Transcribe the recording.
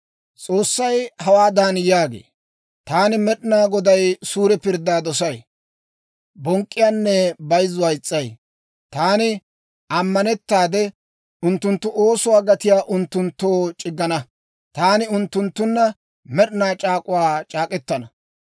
S'oossay hawaadan yaagee; «Taani Med'inaa Goday suure pirddaa dosay; bonk'k'iyaanne bayzzuwaa is's'ay. Taani ammanettaade, unttunttu oosuwaa gatiyaa unttunttoo c'iggana. Taani unttunttunna med'inaa c'aak'uwaa c'aak'k'etana.